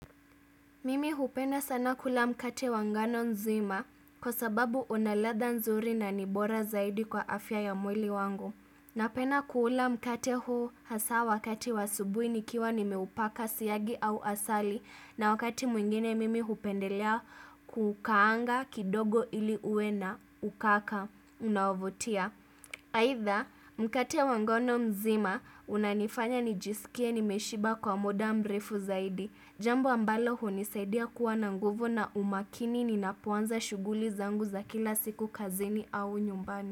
Mimi hupenda sana kula mkate wangano nzima kwa sababu unaladha nzuri na nibora zaidi kwa afya ya mwili wangu. Napenda kuula mkate huu hasa wakati wasubuhi nikiwa nimeupaka siyagi au asali na wakati mwingine mimi hupendelea kukaanga kidogo ili uwe na ukaka unavutia. Haitha mkate wangano mzima unanifanya nijisikie nimeshiba kwa mda mrefu zaidi Jambo ambalo hunisaidia kuwa na nguvu na umakini ninapoanza shughuli zangu za kila siku kazini au nyumbani.